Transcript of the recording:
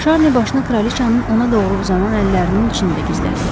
Şarninin başını kraliçanın ona doğru uzanan əllərinin içində gizlətdi.